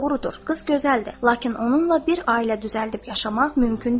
Doğrudur, qız gözəldir, lakin onunla bir ailə düzəldib yaşamaq mümkün deyil.